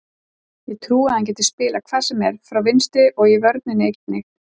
Ég trúi að hann geti spilað hvar sem er frá vinstri og í vörninni einnig.